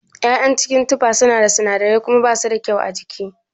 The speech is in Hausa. ya'yan cikin tufa suna da sinadirai kuma bashi da kyau a jiki.